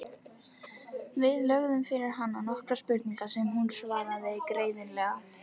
Við lögðum fyrir hana nokkrar spurningar sem hún svaraði greiðlega.